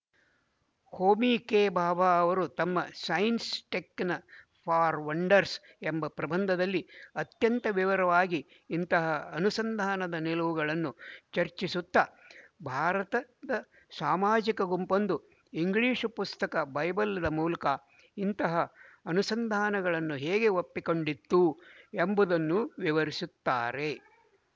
ಹೋಮಿಕೆಭಾಭಾ ಅವರು ತಮ್ಮ science taken for wonders ಎಂಬ ಪ್ರಬಂಧದಲ್ಲಿ ಅತ್ಯಂತ ವಿವರವಾಗಿ ಇಂತಹ ಅನುಸಂಧಾನದ ನಿಲುವುಗಳನ್ನು ಚರ್ಚಿಸುತ್ತ ಭಾರತದ ಸಾಮಾಜಿಕ ಗುಂಪೊಂದು ಇಂಗ್ಲಿಶು ಪುಸ್ತಕ ಬೈಬಲ್ದ ಮೂಲಕ ಇಂತಹ ಅನುಸಂಧಾನಗಳನ್ನು ಹೇಗೆ ಒಪ್ಪಿಕೊಂಡಿತ್ತು ಎಂಬುದನ್ನು ವಿವರಿಸುತ್ತಾರೆ